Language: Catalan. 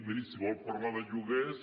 miri si vol parlar de lloguers